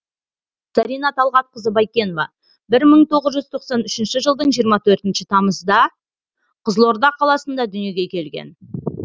зарина талғатқызы байкенова бір мың тоғыз жүз тоқсан үшінші жылдың жиырма төртінші тамызда қызылорда қаласында дүниеге келген